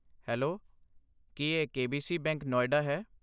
Hello, ਕੀ ਇਹ K B C bank, Noida ਹੈ?